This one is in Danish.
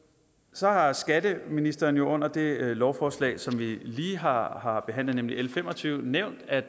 så har skatteministeren jo under det lovforslag som vi lige har har behandlet nemlig l fem og tyve nævnt at